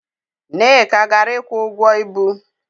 Nneka gara ịkwụ ụgwọ ibu.